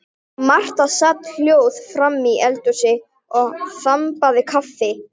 Marta sat hljóð framí eldhúsi og þambaði kaffi.